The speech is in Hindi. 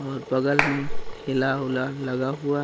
और बगल में ठेला ओला लगा हुआ--